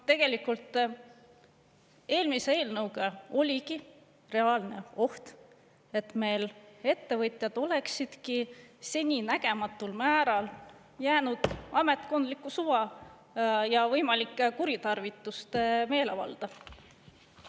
Tegelikult eelmise eelnõuga oligi reaalne oht, et meil ettevõtjad oleksidki seninägematul määral jäänud ametkondliku suva ja võimalike kuritarvituste meelevalda.